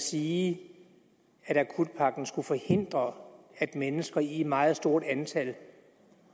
sige at akutpakken skulle forhindre at mennesker i et meget stort antal